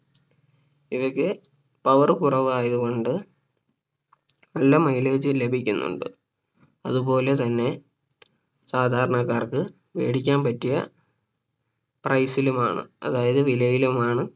ഇവയ്ക്ക് Power കുറവായത് കൊണ്ട് നല്ല Mileage ലഭിക്കുന്നുണ്ട് അതുപോലെ തന്നെ സാധാരണക്കാർക്ക് വേടിക്കാൻ പറ്റിയ Price ലുമാണ് അതായത് വിലയിലുമാണ്